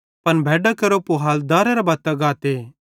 पन भैड्डां केरो पूहाल दारेरे बत्तां गाते